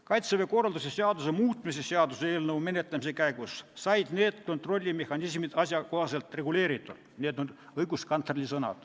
Kaitseväe korralduse seaduse muutmise seaduse eelnõu menetlemise käigus said need kontrollimehhanismid asjakohaselt reguleeritud.